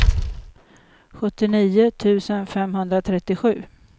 sjuttionio tusen femhundratrettiosju